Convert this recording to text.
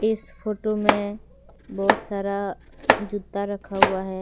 इस फोटो में बहुत सारा जूता रखा हुआ है।